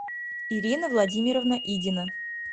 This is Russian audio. ирина владимировна идина